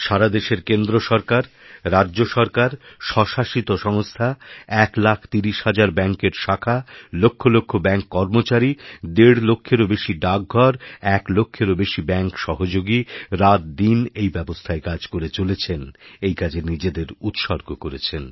সারা দেশের কেন্দ্রসরকার রাজ্য সরকার স্বশাসিত সংস্থা ১ লাখ ৩০ হাজার ব্যাঙ্কের শাখা লক্ষ লক্ষব্যাঙ্ক কর্মচারি দেড় লক্ষেরও বেশি ডাকঘর এক লক্ষেরও বেশি ব্যাঙ্কসহযোগীরাতদিন এই ব্যবস্থায় কাজ করে চলেছেন এই কাজে নিজেদের উৎসর্গ করেছেন